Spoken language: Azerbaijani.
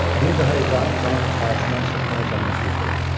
Bir daha İbrahim xanın itaətindən çıxmayacağına söz verdi.